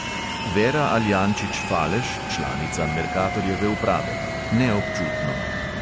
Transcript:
Vera aljančič falež, članica merkatorjeve uprave: "ne občutno."